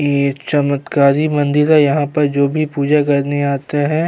ये एक चमत्कारी मंदिर है यहाँ पर जो भी पूजा करने आता है --